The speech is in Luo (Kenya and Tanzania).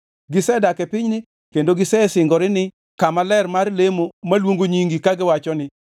Gisedak e pinyni kendo gisegeroni kama ler mar lemo maluongo Nyingi kagiwacho ni,